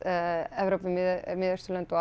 Evrópu Miðausturlönd og